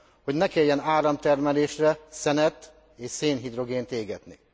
hogy ne kelljen áramtermelésre szenet és szénhidrogént égetni.